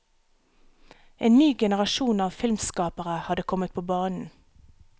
En ny generasjon av filmskapere hadde kommet på banen.